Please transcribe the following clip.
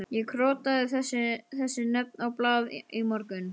Ég krotaði þessi nöfn á blað í morgun.